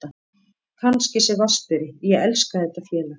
Kannski sem vatnsberi, ég elska þetta félag.